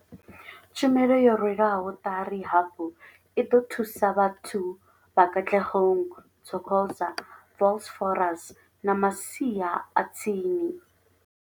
Tshumelo yo rwelwaho ṱari hafhu i ḓo thusa vhathu vha Katlehong, Thokoza, Vosloorus na masia a tsini.